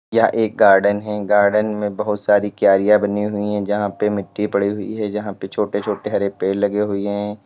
यह एक गार्डन है गार्डन में बहुत सारी क्यारियां बनी हुई है जहां पे मिट्टी पड़ी हुई है जहां पर छोटे छोटे हरे पेड़ लगे हुए हैं।